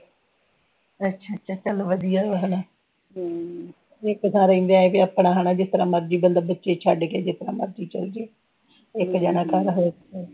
ਅੱਛਾ ਅੱਛਾ ਚਲੋ ਵਧੀਆ ਹੋਇਆ ਹਨਾ ਇੱਕ ਥਾਂ ਰਣਦੇ ਕੀ ਆਪਣਾ ਹੈਨਾ ਜਿਸ ਤਰਾਂ ਮਰਜ਼ੀ ਬੰਦਾ ਬੱਚੇ ਛੱਡ ਕੇ ਜਿਥੇ ਮਰਜ਼ੀ ਚਲਜੇ ਇਕ ਜਣਾ ਕੌਣ ਰਹੇ